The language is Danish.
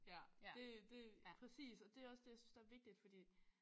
Ja det det præcis og det også det jeg synes der er vigtigt fordi